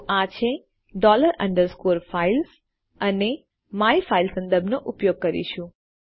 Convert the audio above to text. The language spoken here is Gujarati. તો આ છે ડોલર અંડરસ્કોર ફાઇલ્સ અને આપણે માયનામે સંદર્ભ નો ઉપયોગ કરીશું